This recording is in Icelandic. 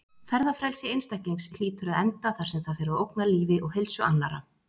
Ferðafrelsi einstaklings hlýtur að enda þar sem það fer að ógna lífi og heilsu annarra.